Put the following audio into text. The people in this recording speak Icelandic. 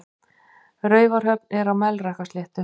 Raufarhöfn er á Melrakkasléttu.